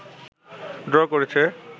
draw করেছে